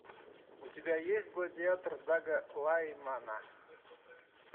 у тебя есть гладиатор дага лаймана